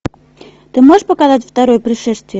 ты можешь показать второе пришествие